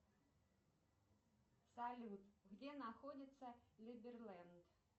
салют где находится либерленд